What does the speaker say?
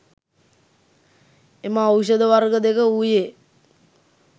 එම ඖෂධ වර්ග දෙක වූයේ